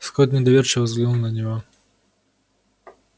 скотт недоверчиво взглянул на него